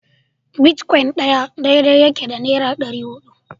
Bitcoin ɗaya daidai yake da naira ɗari hudu